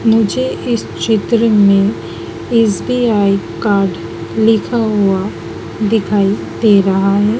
मुझे इस चित्र में एस_बी_आई कार्ड लिखा हुआ दिखाई दे रहा है।